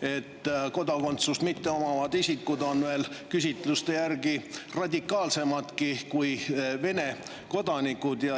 et kodakondsust mitteomavad isikud on küsitluste järgi veel radikaalsemadki kui Vene kodanikud.